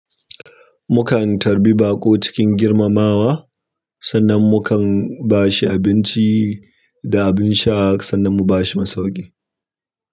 Mukan tarbi baƙo cikin girmamawa, sannan mukan ba shi abinci da abin sha sannan mu ba shi masauƙi.